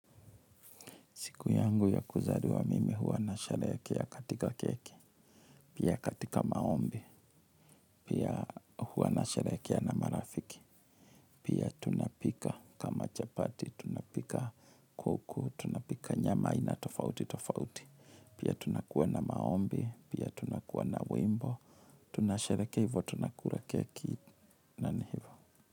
Siku yangu ya kuzaliwa mimi huwa nasherehekea katika keki, pia katika maombi, pia huwa nasherehekea na marafiki, pia tunapika kama chapati, tunapika kuku, tunapika nyama aina tofauti, tofauti, pia tunakuwa na maombi, pia tunakuwa na wimbo, tunasherehekea hivyo tunakula keki, na ni hivyo.